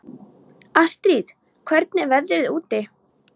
Astrid, hvernig er veðrið úti?